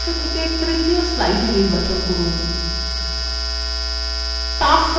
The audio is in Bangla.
মুখ্য অংশ থেকে তৃতীয় slide নির্বাচন from